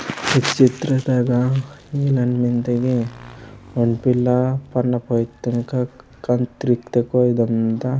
ई चित्र तगा इलेन मेन्दे की ओंड पिला पन्ना पोईंत्तोर कांतिरता अदम मिन्दा।